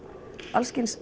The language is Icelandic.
alls kyns